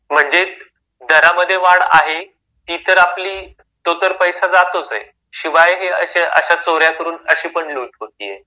म्हणजे दरामध्ये वाढ आहे. ती तर आपली तो तर पैसा जातोच आहे शिवाय हे अशा चोऱ्या करून अशी पण लूट होतीये.